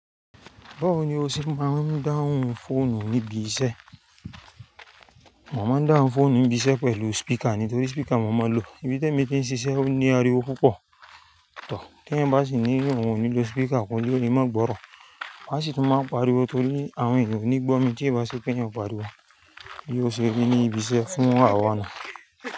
Báwo ni o ṣe máa ń dáhùn fóònù níbi iṣẹ́? Mo máa ń dáhùn fóònù níbi iṣẹ́ pẹ̀lú speaker ni, nítorí speaker mo máa ń lo. Ibi tí ẹ́mi tí ń ṣiṣẹ́ o ní ariwo púpọ̀, tọ̀. Tí ẹ̀ ń bá sì nílò, wọn ò ní lo speaker, wọ́n yóò ní má gborọ̀. Wọ́n sì tún máa ń pariwo torí àwọn ènìyàn ò ní gbọ́ mi tí ẹ́ bá ṣe pé ẹ̀yin o pariwo. Bí ó ṣe rí ní ibi iṣẹ́ fún àwa ni.